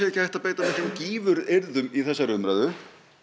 ekki hægt að beita miklum gífuryrðum í þessari umræðu